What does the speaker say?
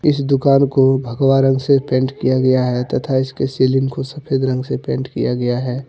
इस दुकान को भगवा रंग से पेंट किया गया है तथा इसके सीलिंग को सफेद रंग से पेंट किया गया है।